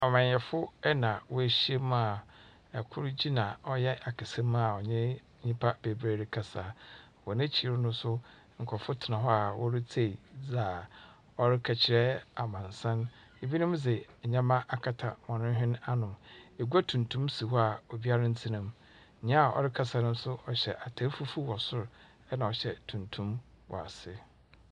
Amanyɛfo na wɔahyia mu a, kor gyina ɔyɛ akasamu a ɔnye nyimpa beberee rekasa. Wɔ n’ekyir no nso, nkorɔfo tsena hɔ a woritsie dza ɔreka kyerɛ amansuon, binom dze ndzɛmba akata wɔn hwene ano. Egua tuntum si hɔ a obiara nntsena mu. Nyia ɔrekasa no so hyɛ atar fufuw wɔ sor na ɔhyɛ tuntum wɔ ase.